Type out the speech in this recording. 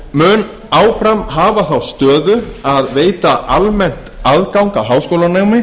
mun áfram hafa þá stöðu að veita almennt aðgang að háskólanámi